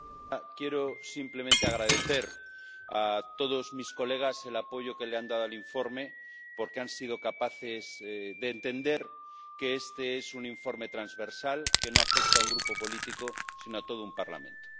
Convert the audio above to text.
Señora presidenta, quiero simplemente agradecer a todos mis colegas el apoyo que le han dado al informe, porque han sido capaces de entender que este es un informe transversal que no afecta a un grupo político, sino a todo un Parlamento.